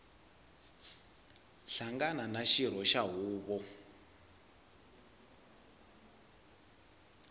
hlangana na xirho xa huvo